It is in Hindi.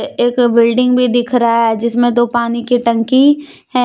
एक बिल्डिंग भी दिख रहा है जिसमें दो पानी की टंकी है।